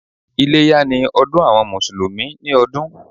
Iléyá ni ọdún àwọn Mùsùlùmí ni ọdún.